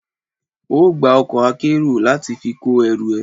Ó gba ọkọ̀ akérò láti fi kó ẹrù ẹ.